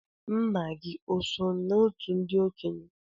Nna gị oso n'òtù ndị okenye?